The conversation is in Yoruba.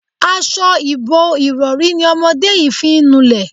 As̩o̩ ìbo-ìrò̩rí ni o̩mo̩dé yìí fi ń nulè̩.